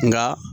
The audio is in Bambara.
Nka